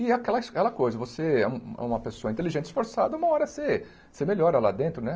E aquela his é aquela coisa, você é uma pessoa inteligente, esforçada, uma hora você você melhora lá dentro, né?